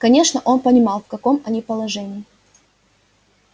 конечно он понимал в каком они положении